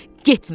Getmə.